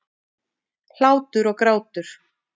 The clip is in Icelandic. Hlátur og grátur.